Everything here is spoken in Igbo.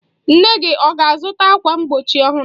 Nne gị ọ ga-azụta ákwà mgbochi ọhụrụ?